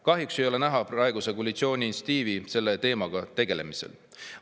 Kahjuks ei ole näha praeguse koalitsiooni initsiatiivi selle teemaga tegelemisel.